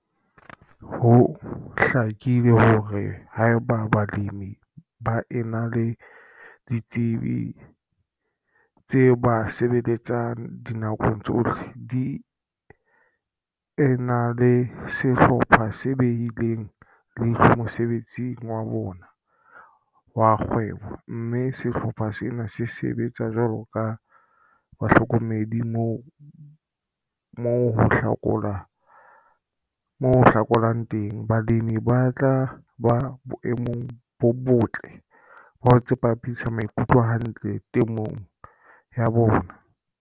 Ho hlakile hore haeba balemi ba ena le ditsebi tse ba sebeletsang dinakong tsohle, di ena le sehlopha se behileng leihlo mosebetsing wa bona wa kgwebo, mme sehlopha sena se sebetsa jwalo ka bahlokomedi moo ho hlokahalang teng, balemi ba tla ba boemong bo botle ba ho tsepamisa maikutlo hantle temong ya bona.